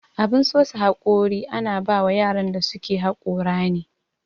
Abun sosa haƙori ana bawan yaran da suke haƙora ne.